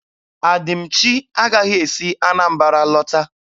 Adịmchi agaghị esi Anambara lọta.